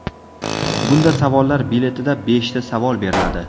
Bunda savollar biletida beshta savol beriladi.